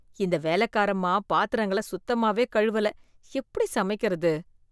இந்த வேலக்காரம்மா பாத்திரங்கள சுத்தமாவே கழுவல, எப்படி சமைக்கறது?